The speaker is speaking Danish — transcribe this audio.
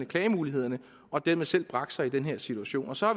klagemulighederne og dermed selv bragt sig i den her situation og så